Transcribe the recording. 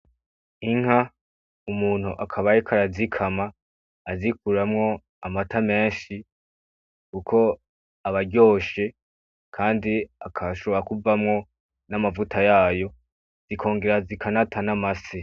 Inka, umuntu akaba ariko arazikama azikuramwo amata menshi kuko aba aryoshe, kandi agashobora kuvamwo n'amavuta yayo, zikongera zikanata n'amase.